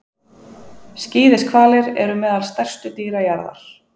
Skíðishvalir eru meðal stærstu dýra jarðar.